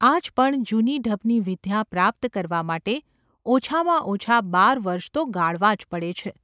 આજ પણ જૂની ઢબની વિદ્યા પ્રાપ્ત કરવા માટે ઓછામાં ઓછાં બાર વર્ષ તો ગાળવાં જ પડે છે.